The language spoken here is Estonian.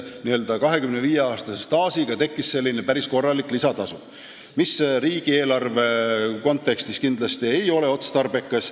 Nii et 25-aastase staaži korral tekkis päris korralik lisatasu, mis riigieelarve kontekstis ei ole kindlasti otstarbekas.